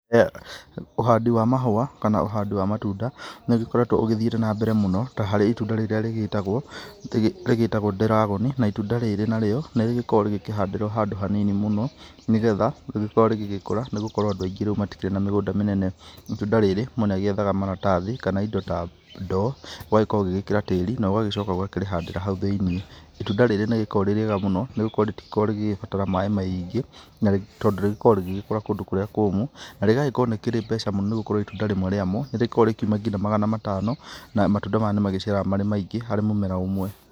Ũhandi wa mahũa kana ũhandĩ wa matunda nĩ ũgĩkoretwo ũgĩthiĩte na mbere mũno ta harĩ itunda rĩrĩa rĩgĩtagwo dragon na itunda riri narĩo nĩ rĩkoragwo rĩkĩhandĩrwo handũ hanini mũno nĩgetha rĩkorwo rĩgĩkũra nĩ gũkorwo andũ aingĩ rĩu matikĩrĩ na mĩgũnda mĩnene, itunda rĩrĩ mũndũ nĩ agĩethaga maratathi kana indo ta ndo ũgagĩkorwo ũgĩkĩra tĩri na ũgagĩcoka ũgakĩrĩhandĩra hau thĩinĩ, itunda riri nĩ rĩgĩkoragwo rĩrĩ rĩega mũno nĩ gũkorwo rĩtikoragwo rĩgĩgĩbatara maĩ maingĩ tondũ rĩgĩkoragwo rĩgĩkũra kũndu kũrĩa kũmũ na rĩgagĩkorwo nĩ rĩkĩrĩ mbeca mũno nĩ gũkorwo itunda rĩmwe rĩamo nĩ rĩkoragwo rĩkiũma nginya magana matano na matunda maya nĩ magĩciaraga marĩ maingĩ harĩ mũmera ũmwe.